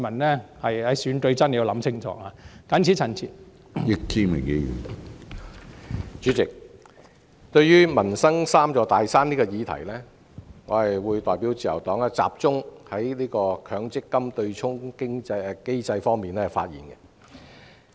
主席，對於"要求政府解決民生'三座大山'"的議案，我代表自由黨集中就強制性公積金對沖機制發言。